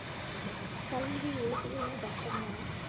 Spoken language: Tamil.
கல்வி உளவியல்னு பார்த்தோம்னா